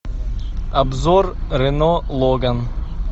обзор рено логан